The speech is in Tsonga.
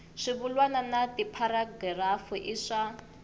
swivulwa na tipharagirafu i swa